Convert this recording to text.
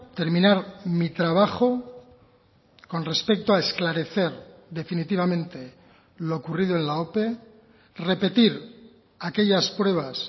terminar mi trabajo con respecto a esclarecer definitivamente lo ocurrido en la ope repetir aquellas pruebas